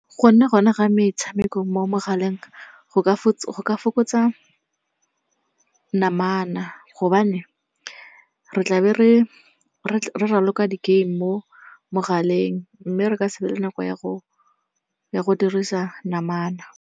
Go nna go na ga metshameko mo megaleng go fokotsa namana gobane re tla be re raloka di-game mo mogaleng mme re ka se be le nako ya go dirisa namana.